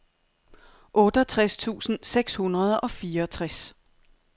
otteogtres tusind seks hundrede og fireogtres